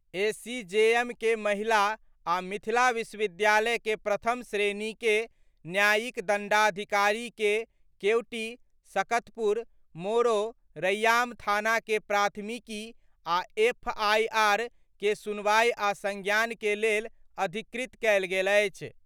ACJM के महिला आ मिथिला विश्वविद्यालय के प्रथम श्रेणी के न्यायिक दंडाधिकारी के केवटी, सकतपुर, मोरो, रैयाम थाना के प्राथमिकी आ एफआईआर के सुनवाई आ संज्ञान के लेल अधिकृत कयल गेल अछि।